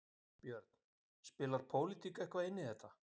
Björn: Spilar pólitík eitthvað inn í þetta?